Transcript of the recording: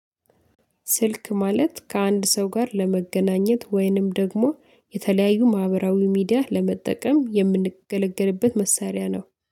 ስልክ ማለት ከአንድ ሰው ጋር ለመገናኘት ወይንም ደግሞ የተለያዩ ማህበራዊ ሚዲያ ለመጠቀም የምንገለገልበት መሳሪያ ነው